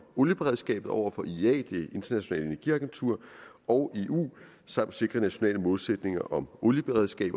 olieberedskabet over for iea det internationale energiagentur og eu samt sikrer nationale målsætninger om olieberedskab